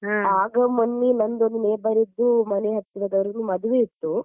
ಆಗ ಮೊನ್ನೆ ನಮ್ದ್ ಒಂದು neighbour ದ್ದು ಮನೆ ಮನೆಹತ್ರದವರಿಗೆ ಮದುವೆ ಇತ್ತು.